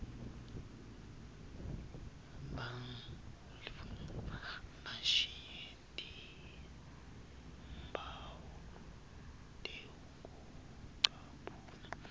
bashiye timphawu tekucaphuna